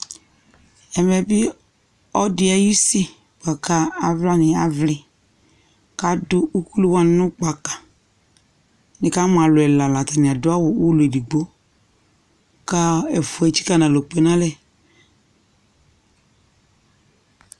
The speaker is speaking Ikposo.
ɛmɛ bi ɔloɛdi ayi usi lako alowani avli k'ado ukulu wani no gbaka ni kamo alo ɛla la atani ado awu ulɔ edigbo kò ɛfua etsika n'alɔ kpe n'alɛ